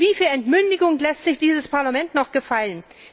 Und wie viel Entmündigung lässt sich dieses Parlament noch gefallen?